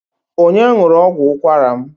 Onye ṅụrụ ọgwụ ụkwara m?